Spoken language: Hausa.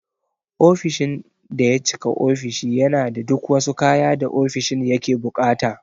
Ofishin daya cika ofishi yana da duk wasu kaya da ofishin yake buƙata.